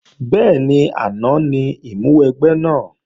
Bẹ́ẹ̀ni, àná ní ìmúwẹgbẹ́ náà